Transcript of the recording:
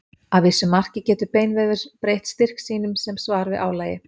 Að vissu marki getur beinvefur breytt styrk sínum sem svar við álagi.